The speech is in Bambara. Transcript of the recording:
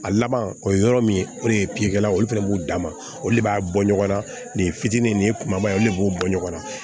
A laban o ye yɔrɔ min ye o de ye olu fɛnɛ b'u dan ma olu de b'a bɔ ɲɔgɔn na nin fitini nin ye kumaba ye olu de b'o bɔ ɲɔgɔn na